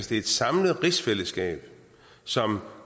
det er et samlet rigsfællesskab som